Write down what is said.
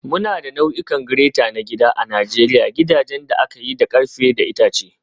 Muna da nau'ikan grater na gida a Najeriya gidajen da aka yi da ƙarfe da itace.